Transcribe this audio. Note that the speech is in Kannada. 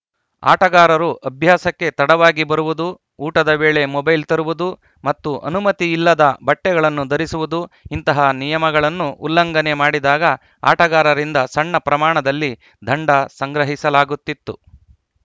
ಆಟಗಾರರು ಅಭ್ಯಾಸಕ್ಕೆ ತಡವಾಗಿ ಬರುವುದು ಊಟದ ವೇಳೆ ಮೊಬೈಲ್‌ ತರುವುದು ಮತ್ತು ಅನುಮತಿಯಿಲ್ಲದ ಬಟ್ಟೆಗಳನ್ನು ಧರಿಸುವುದು ಇಂತಹ ನಿಯಮಗಳನ್ನು ಉಲ್ಲಂಘನೆ ಮಾಡಿದಾಗ ಆಟಗಾರರಿಂದ ಸಣ್ಣ ಪ್ರಮಾಣದಲ್ಲಿ ದಂಡ ಸಂಗ್ರಹಿಸಲಾಗುತ್ತಿತ್ತು